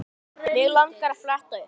Mig langar að fletta upp.